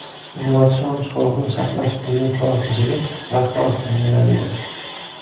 Innovatsion sog‘liqni saqlash milliy palatasiga rahbar tayinlandi.